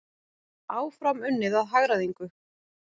Áfram unnið að hagræðingu